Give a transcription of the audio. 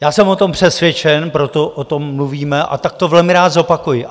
Já jsem o tom přesvědčen, proto o tom mluvíme, a tak to velmi rád zopakuji.